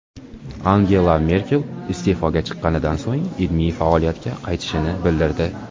Angela Merkel iste’foga chiqqanidan so‘ng ilmiy faoliyatga qaytishini bildirdi.